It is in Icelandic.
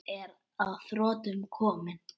Ég er að þrotum kominn.